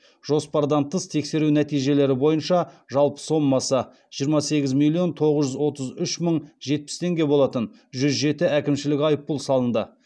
жоспардан тыс тексеру нәтижелері бойынша жалпы сомасы жиырма сегіз миллион тоғыз жүз отыз үш мың жетпіс теңге болатын жүз жеті әкімшілік айыппұл салынды